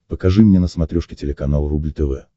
покажи мне на смотрешке телеканал рубль тв